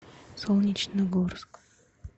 солнечногорск